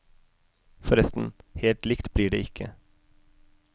Forresten, helt likt blir det ikke.